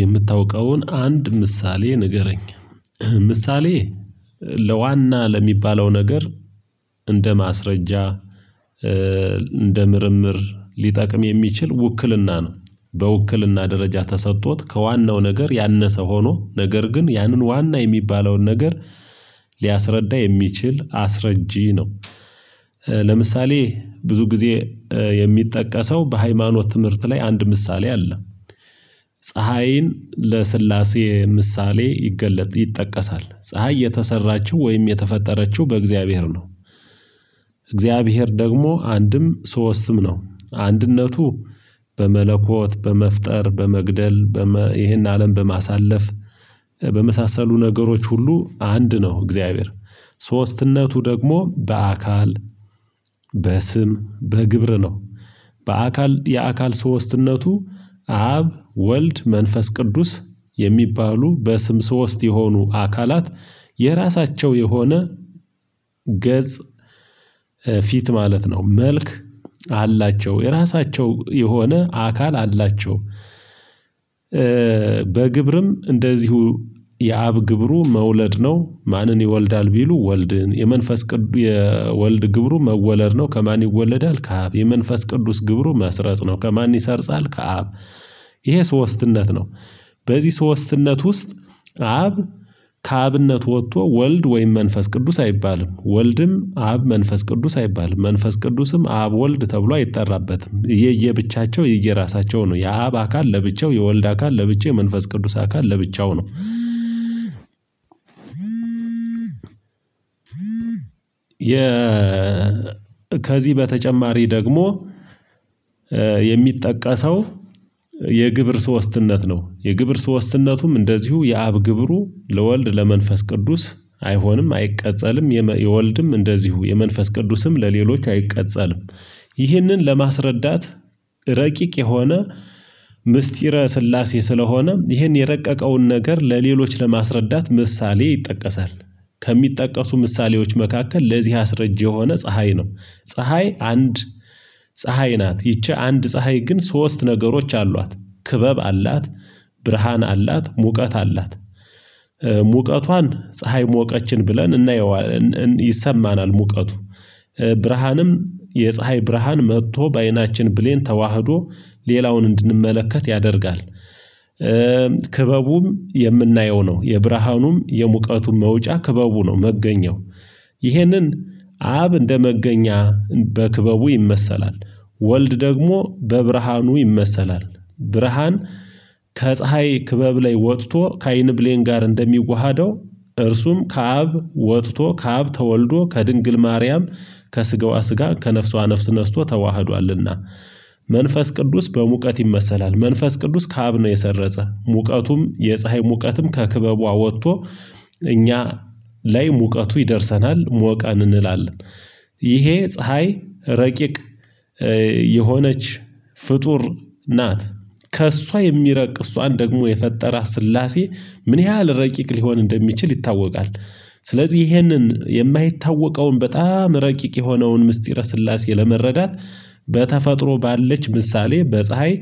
የምታውቀውን አንድ ምሳሌ ንገረኝ ምሳሌ ለዋና ለሚባለው ነገር እንደ ማስረጃ እንደ ምርምር ሊጠቅም የሚችል ውክልና ነው። በውክልና ደረጃ ተሰጥቶት ከዋናው ነገር ያነሰ ሆኖ ነገር ግን ያንን ዋና የሚባለውን ነገር ሊያስረዳ የሚችል አስረጂ ነው። ለምሳሌ ብዙ ጊዜ የሚጠቀሰው በሃይማኖት ትምህርት ላይ አንድ ምሳሌ አለ። ፀሀይን ለስላሴ ምሳሌ ይገለጥ ይጠቀሳል ፀሀይ የተሰራችው ወይም የተፈጠረችው በእግዚአብሔር ነው። እግዚአብሔር ደግሞ አንድም ሶስትም ነው አንድነቱ በመለኮት በመፍጠር በመግደል ይሄን አለም በማሳለፍ በመሳሰሉ ነገሮች ሁሉ አንድ ነው እግዚአብሔር ሶስትነቱ ደግሞ በአካል በስም በግብር ነው። በአካል የአካል ሶስትነቱ አብ ወልድ መንፈስ ቅዱስ የሚባሉ በስም ሶስት የሆኑ አካላት የራሳቸው የሆነ ገጽ ፊት ማለት ነው መልክ አላቸው የራሳቸው የሆነ አካል አላቸው። በግብርም እንደዚሁ የአብ ግብሩ መውለድ ነው ማንን ይወልዳል ቢሉ ወልድን የመንፈስ ቅዱስ የወልድ ግብሩ መወለድ ነው ከማን ይወለዳል ከአብ የመንፈስ ቅዱስ ግብሩ መስረጽ ነው ከማን ይሰርጻል ከአብ። ይሄ ሶስትነት ነው። በዚህ ሶስትነት ውስጥ አብ ከአብነት ወጥቶ ወልድ ወይም መንፈስ ቅዱስ አይባልም ወልድም አብ መንፈስ ቅዱስ አይባልም መንፈስ ቅዱስም አብ ወልድ ተብሎ አይጠራበትም የየብቻቸው የየራሳቸው ነው የአብ አካል ለብቻው የወልድ አካል ለብቻው የመንፈስ ቅዱስ አካል ለብቻው ነው። የ ከዚህ በተጨማሪ ደግሞ የሚጠቀሰው የግብር ሶስትነት ነው የግብር ሶስትነቱም እንደዚሁ የአብ ግብሩ ለወልድ ለመንፈስ ቅዱስ አይሆንም አይቀጸልም የወልድም እንደዚሁ የመንፈስ ቅዱስም ለሌሎች አይቀጸልም። ይህንን ለማስረዳት ረቂቅ የሆነ ምስጢረ ስላሴ ስለሆነ ይህን የረቀቀውን ነገር ለሌሎች ለማስረዳት ምሳሌ ይጠቀሳል። ከሚጠቀሱ ምሳሌዎች መካከል ለዚህ አስረጅ የሆነ ፀሀይ ነው። ፀሀይ አንድ ፀሀይ ናት ይቺ አንድ ፀሀይ ግን ሶስት ነገሮች አሏት ክበብ አላት ብርሃን አላት ሙቀት አላት። ሙቀቷን ፀሀይ ሞቀችን ብለን እናየዋን ይሰማናል ሙቀቱ ብርሃንም የፀሀይ ብርሃን መጥቶ በአይናችን ብሌን ተዋህዶ ሌላውን እንድንመለከት ያደርጋል። ክበቡም የምናየው ነው የብርሃኑም የሙቀቱም መውጫ ክበቡ ነው መገኘው። ይህንን አብ እንደመገኛ በክበቡ ይመሰላል። ወልድ ደግሞ በብርሃኑ ይመሰላል። ብርሃን ከፀሀይ ክበብ ላይ ወጥቶ ከአይን ብሌን ጋር እንደሚዋሀደው እርሱም ከአብ ወጥቶ ከአብ ተወልዶ ከድንግል ማርያም ከስገዋ ስጋ ከነፍሷ ነፍስ ነስቶ ተዋህዷልና። መንፈስ ቅዱስ በሙቀት ይመሰላል መንፈስ ቅዱስ ከአብ ነው የሰረጸ ሙቀቱም የፀሀይ ሙቀትም ከክበቧ ወጥቶ እኛ ላይ ሙቀቱ ይደርሰናል ሞቀን እንላለን። ይሄ ፀሀይ ረቂቅ የሆነች ፍጡር ናት ከእሷ የሚረቅ እሷን ደግሞ የፈጠራ ስላሴ ምን ያህል ረቂቅ ሊሆን እንደሚችል ይታወቃል። ስለዚህ ይሄንን የማይታወቀውን በጣም ረቂቅ የሆነውን ምስጢረ ስላሴ ለመረዳት በተፈጥሮ ባለች ምሳሌ በፀሀይ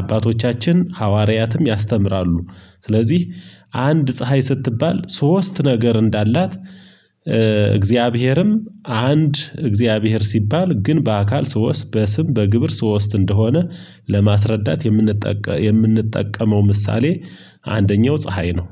አባቶቻችን ሐዋርያትም ያስተምራሉ። ስለዚህ አንድ ፀሀይ ስትባል ሶስት ነገር እንዳላት እግዚአብሔርም አንድ እግዚአብሔር ሲባል ግን በአካል ሶስት በስም በግብር ሶስት እንደሆነ። ለማስረዳት የምንጠቀመው ምሳሌ አንደኛው ፀሀይ ነው።